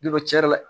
Don cɛn yɛrɛ la